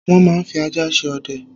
Wọ́n máa ń fi ajá ṣe ọdẹ.